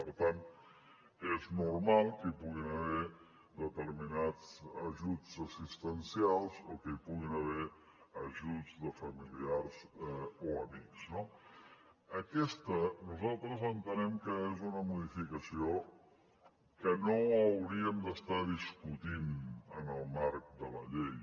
per tant és normal que hi puguin haver determinats ajuts assistencials o que hi puguin haver ajuts de familiars o amics no aquesta nosaltres entenem que és una modificació que no hauríem d’estar discutint en el marc de la llei